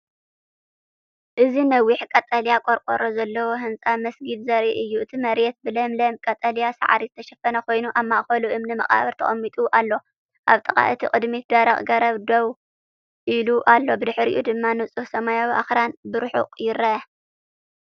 እዚ ነዊሕ ቀጠልያ ቆርቆሮ ዘለዎ ህንጻ መስጊድ ዘርኢ እዩ። እቲ መሬት ብለምለም ቀጠልያ ሳዕሪ ዝተሸፈነ ኮይኑ፡ ኣብ ማእከሉ እምኒ መቓብር ተቐሚጡ ኣሎ። ኣብ ጥቓ እቲ ቅድሚት ደረቕ ገረብ ደው ኢሉ ኣሎ፣ ብድሕሪኡ ድማ ንጹህ ሰማይን ኣኽራንን ብርሑቕ ይርአ።